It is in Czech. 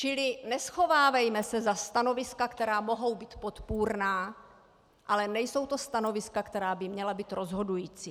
Čili neschovávejme se za stanoviska, která mohou být podpůrná, ale nejsou to stanoviska, která by měla být rozhodující.